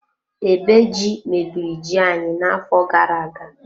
Ebe ji, mebiri ji anyị na-afọ gara-aga